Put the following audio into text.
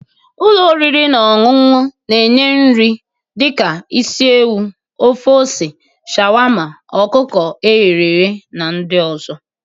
Ụlọ oriri na ọṅụṅụ na-enye nri dị ka isi ewu, ofe ose, sharwarmma, ọkụkọ eghe na ndị ọzọ.